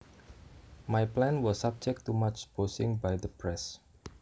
My plan was subject to much bashing by the press